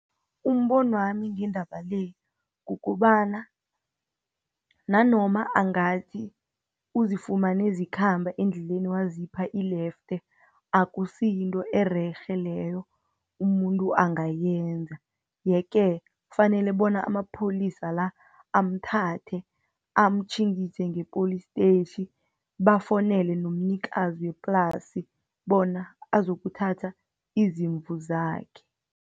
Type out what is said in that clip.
Umbono wami ngendaba le, ukobana nanoma angathi uzifumane zikhamba endleleni wazipha ilefte, akusi yinto ererhe leyo, umuntu angayenza. Yeke kufanele bona amapholisa la, amthathe amatjhingise ngepholistetjhi, bafowunele nomnikazi weplasi, bona azokuthatha izimvu zakhe.